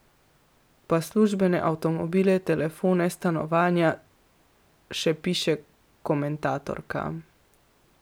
Pa službene avtomobile, telefone, stanovanja, še piše komentatorka.